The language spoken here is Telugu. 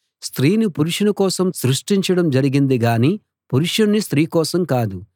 స్త్రీని పురుషుని కోసం సృష్టించడం జరిగింది గాని పురుషుణ్ణి స్త్రీ కోసం కాదు